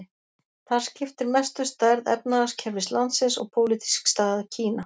Þar skiptir mestu stærð efnahagskerfis landsins og pólitísk staða Kína.